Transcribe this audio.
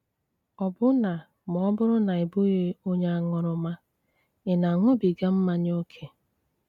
Ọ́bụ́nà mà ọ́ bùrù ná ị́ bụghị́ ónye áṅúrúmà, ị́ na-aṅúbígá mmányá ókè?